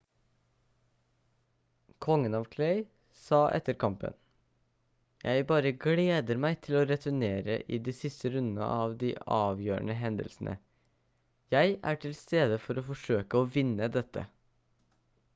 kongen av clay sa etter kampen: «jeg bare gleder meg til å returnere i de siste rundene av de avgjørende hendelsene. jeg er til stede for å forsøke å vinne dette»